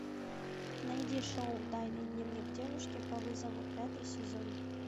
найди шоу тайный дневник девушки по вызову пятый сезон